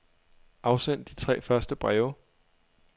Afsend de tre første breve.